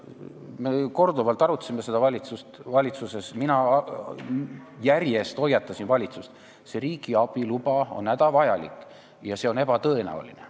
Me korduvalt arutasime seda valitsuses ja mina järjest hoiatasin valitsust, et riigiabi luba on hädavajalik, aga paraku see on ebatõenäoline.